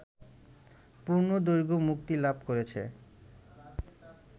পূর্ণ দৈর্ঘ্যে মুক্তিলাভ করেছে